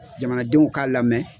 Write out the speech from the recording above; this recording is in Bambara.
Jamanadenw k'a lamɛn